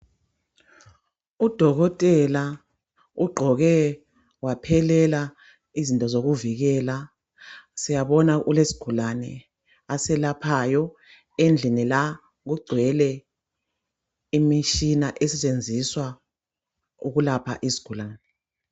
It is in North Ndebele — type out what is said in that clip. Kudokotela ugqoke waphelela izinto zokuvikela , siyabonga ulesigulane aselaphayo , endlini la kugcwele imishina esetshenziswa ukulapha izigulane